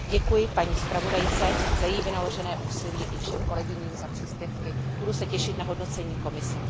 Děkuji paní zpravodajce za její vynaložené úsilí i všem kolegyním za příspěvky. Budu se těšit na hodnocení Komise.